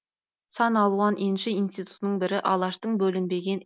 сан алуан енші ішститутының бірі алаштың бөлінбеген